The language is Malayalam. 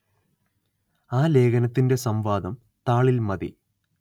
ആ ലേഖനത്തിന്റെ സം‌വാദം താളില്‍ മതി